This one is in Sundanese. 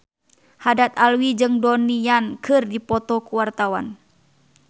Haddad Alwi jeung Donnie Yan keur dipoto ku wartawan